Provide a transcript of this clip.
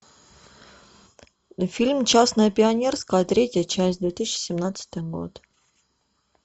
фильм частное пионерское третья часть две тысячи семнадцатый год